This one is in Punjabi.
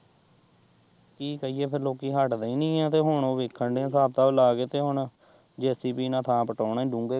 ਕੀ ਕਰੀਏ ਫੇਰ ਲੋਕੀਂ ਹੱਟਦੇ ਹੀ ਨਈ ਏ ਤੇ ਹੁਣ ਵੇਖਣ ਦਏ ਏ ਹਿਸਾਬ-ਕਿਤਾਬ ਲਾ ਕੇ ਤੇ ਹੁਣ ਜੇਸੀਬੀ ਨਾਲ਼ ਥਾਂ ਪੁਟਾਉਣੀ ਡੂੰਘੇ।